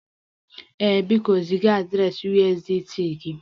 Ee, biko ziga adreesị USDT gị